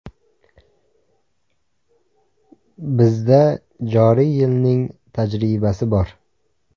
Bizda joriy yilning tajribasi bor.